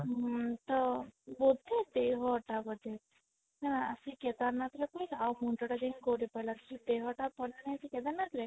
ଉଁ ତ ବୋଧେ ଦେହଟା ବୋଧେ ହଁ ଆସି କେଦାରନାଥ ରେ ପଇଲା ଆଉ ମୁଣ୍ଡ ଟା ଯାଇକି ଗୌରୀପାଲା ରେ ସେ ଦେହ ଟା ପଡି ନଥିଲା କେଦାରନାଥ ରେ